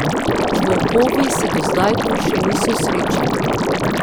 Z volkovi se do zdaj tu še niso srečali.